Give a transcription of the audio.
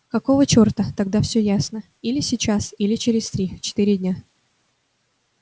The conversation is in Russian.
какого чёрта тогда всё ясно или сейчас или через три-четыре дня